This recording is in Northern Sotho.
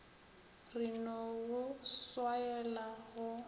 re no go swaela go